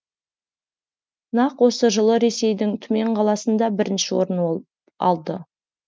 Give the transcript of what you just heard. нақ осы жылы ресейдің түмен қаласында бірінші орын алды